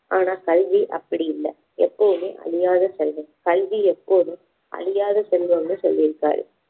ஆனா கல்வி அப்படி இல்ல எப்பவுமே அழியாத செல்வம் கல்வி எப்போதும் அழியாத செல்வம்னு சொல்லி இருக்காரு